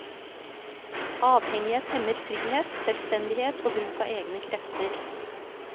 Avhengighet hemmer frihet, selvstendighet og bruk av egne krefter.